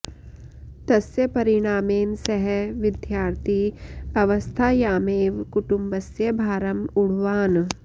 तस्य परिणामेन सः विद्यार्थी अवस्थायामेव कुटुम्बस्य भारम् ऊढवान्